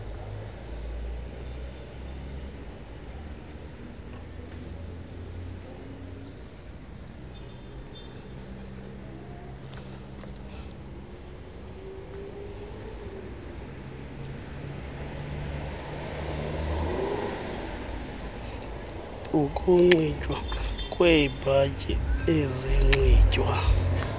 ukunxitywa kweebhatyi ezinxitywa